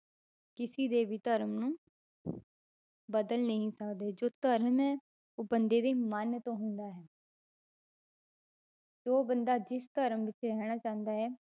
ਕਿਸੇ ਦੇ ਵੀ ਧਰਮ ਨੂੰ ਬਦਲ ਨਹੀਂ ਸਕਦੇ ਜੋ ਧਰਮ ਹੈ, ਉਹ ਬੰਦੇ ਦੇ ਮਨ ਤੋਂ ਹੁੰਦਾ ਹੈ ਜੋ ਬੰਦਾ ਜਿਸ ਧਰਮ ਵਿੱਚ ਰਹਿਣਾ ਚਾਹੁੰਦਾ ਹੈ,